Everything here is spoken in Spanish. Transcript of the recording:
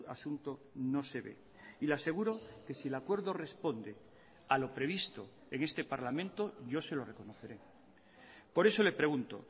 asunto no se ve y le aseguro que si el acuerdo responde a lo previsto en este parlamento yo se lo reconoceré por eso le pregunto